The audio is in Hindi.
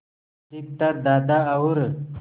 अधिकतर दादा और